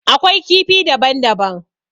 Akwai kifi daban daban.